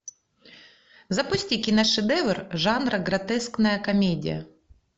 запусти киношедевр жанра гротескная комедия